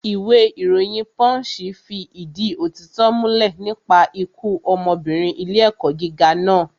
Ìwé ìròyìn pọ́ǹṣì fi ìdí òtítọ́ múlẹ̀ nípa ikú ọmọbìnrin ilé ẹ̀kọ́ gíga naa